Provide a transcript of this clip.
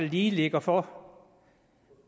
lige ligger for